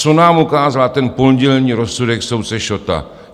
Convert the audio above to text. Co nám ukázal ten pondělní rozsudek soudce Šotta?